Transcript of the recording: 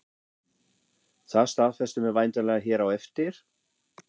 Það staðfestum við væntanlega hér á eftir?